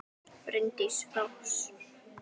Bryndís Rós.